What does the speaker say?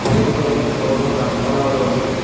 চারিদিকে অনেক বড়ো বড়ো গাছপালাও রয়েসে।